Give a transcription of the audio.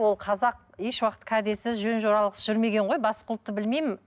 ол қазақ еш уақыт кәдесіз жөн жоралғысыз жүрмеген ғой басқа ұлтты білмеймін